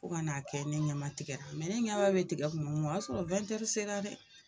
O kan'a kɛ ne ɲamatigɛra ne ɲaba be tigɛ tuma m'o y'a sɔrɔ sera dɛ.